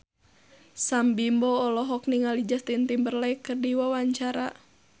Sam Bimbo olohok ningali Justin Timberlake keur diwawancara